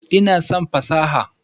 Ina son fasaha.